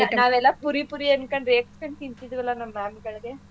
ನಾವೆಲ್ಲ ಪುರಿ ಪುರಿ ಅಂತ ರೇಗಸ್ಕೊಂಡ್ ತಿನ್ತಿದ್ವಲ್ಲಾ ಅದನ್ನ ನಮ್ ma'am ಗಳ್ಗೆ.